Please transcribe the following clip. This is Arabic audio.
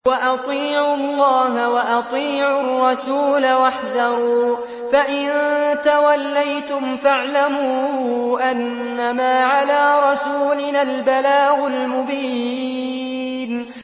وَأَطِيعُوا اللَّهَ وَأَطِيعُوا الرَّسُولَ وَاحْذَرُوا ۚ فَإِن تَوَلَّيْتُمْ فَاعْلَمُوا أَنَّمَا عَلَىٰ رَسُولِنَا الْبَلَاغُ الْمُبِينُ